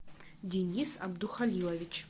денис абдухалилович